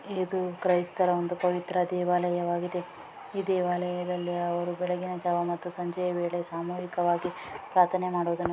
ಇದು ಕ್ರೈಸ್ತರ ಒಂದು ಪವಿತ್ರ ದೇವಾಲಯವಾಗಿದೆ. ಈ ದೇವಾಲಯದಲ್ಲಿ ಅವರು ಬೆಳಗಿನ ಜಾವ ಮತ್ತು ಸಂಜೆ ವೇಳೆ ಸಾಮೂಹಿಕವಾಗಿ ಪ್ರಾಥನೆ ಮಾಡುವುದನ್ನು--